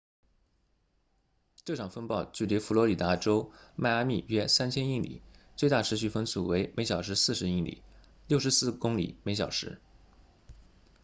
这场风暴距离佛罗里达州迈阿密约3000英里最大持续风速为每小时40英里64公里每小时